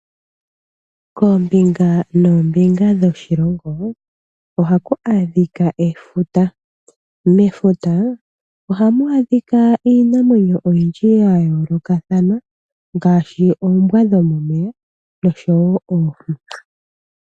koombinga noombinga dhoshilongo ohaku adhika efuta. Mefuta ohamu adhika iinamwenyo oyindji ya yoolokathana ngaashi oombwa dhomomeya nosho wo oohi.